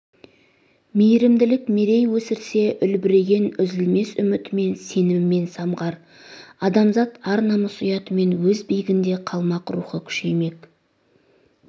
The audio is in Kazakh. мейірімділік мерей өсірсе үлбіреген үзілмес үмітімен сенімімен самғар адамзат ар намыс ұятымен өз биігінде қалмақ рухы күшеймек